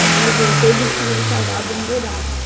Quando ele voltou, eles tinham cavado um buraco.